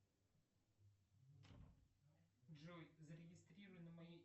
джой зарегистрируй на моей